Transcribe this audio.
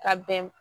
Ka bɛn